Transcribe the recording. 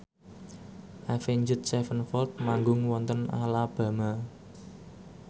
Avenged Sevenfold manggung wonten Alabama